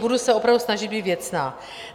Budu se opravdu snažit být věcná.